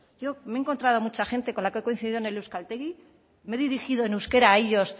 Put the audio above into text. yo me he encontrado mucha gente con la que he coincidido en el euskaltegi me he dirigido en euskera a ellos